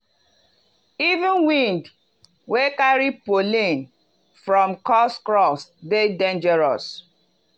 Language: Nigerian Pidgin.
even wind wey carry pollen from cursed crops dey dangerous.